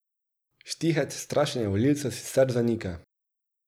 Štihec strašenje volivcev sicer zanika.